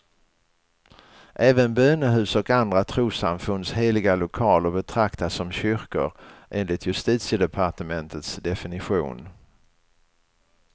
Även bönehus och andra trossamfunds heliga lokaler betraktas som kyrkor, enligt justitiedepartementets definition.